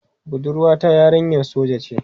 Budurwa ta yarinyar soja ce.